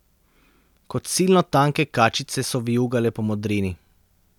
Kot silno tanke kačice so vijugale po modrini.